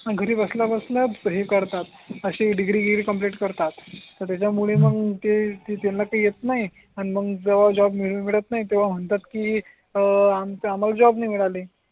घरी बसल्या बसल्याच हे करतात असि डिग्रीगिरी कंप्लीट करतात तर त्याचा मूळे हम्म मग ते त्यांना काही येत नाही आणि मग जेव्हा जॉब मिळत नाही तेव्हा म्हणता की आम्हाला जॉब नाही मिळाली